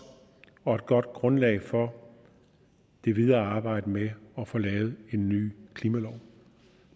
og et godt grundlag for det videre arbejde med at få lavet en ny klimalov